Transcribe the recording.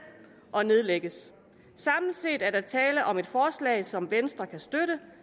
og nedlægges samlet set er der tale om et forslag som venstre kan støtte